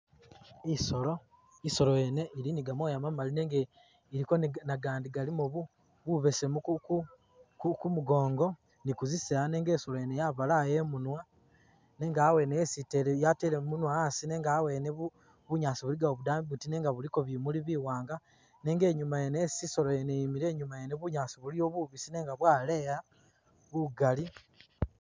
Isoolo isoolo yene ili ni gamooya mamaali nenga iliko ne agandi galiimo bubesemu kumugongo ni kuzisaaya nenga isolo yene yabalaya imunwa nenga awene yesi itele yatele munwa asi nenga awene bunyaasi buligawo budambi buiti nenga buliko bimuuli biwanga nenga inyuma wene isi isolo yene yimile inyuma yene bunyaasi buliyo bubisi nenga bwaleeya bugaali.